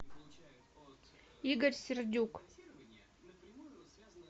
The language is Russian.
игорь сердюк